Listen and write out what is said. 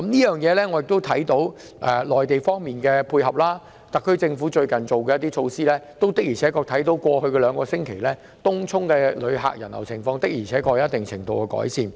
由於內地政府的配合，特區政府最近推行措施後，過去兩星期東涌的旅客人流情況確實有一定程度改善。